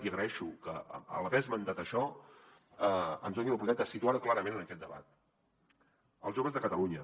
i agraeixo que a l’haver esmentat això ens doni l’oportunitat de situar ho clarament en aquest debat els joves de catalunya